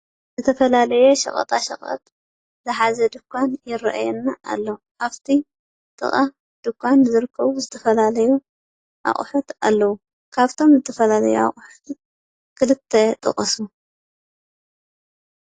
ዝተፈላለየ ሸቀጣሸቀጥ ዝሓዘ ድንዃን ይረኣየና ኣሎ ። ኣብቲ ጥቃ ድንዃን ዝርከቡ ዝተፈላለዩ ኣቑሑት ኣለው። ካብቶም ዝተፈላለዩ ኣቑሑት ክልተ ጥቀሱ ?